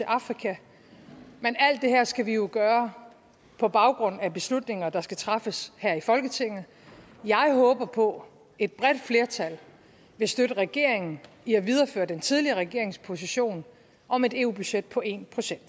afrika men alt det her skal vi jo gøre på baggrund af beslutninger der skal træffes her i folketinget jeg håber på et bredt flertal vil støtte regeringen i at videreføre den tidligere regerings position om et eu budget på en procent